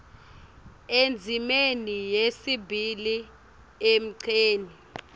endzimeni yesibili emgceni